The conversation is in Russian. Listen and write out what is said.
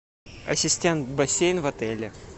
ассистент бассейн в отеле